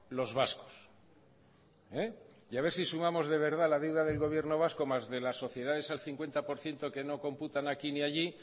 los vascos y a ver si sumamos de verdad la deuda del gobierno vasco más de las sociedades al cincuenta por ciento que no computan aquí ni allí